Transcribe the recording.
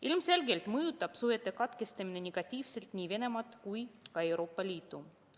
Ilmselgelt mõjutab suhete katkestamine negatiivselt nii Venemaad kui ka Euroopa Liitu.